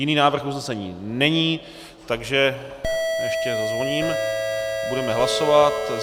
Jiný návrh usnesení není, takže - ještě zazvoním - budeme hlasovat.